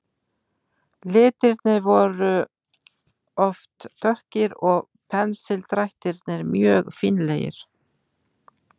Litirnir voru oft dökkir og pensildrættirnir mjög fínlegir.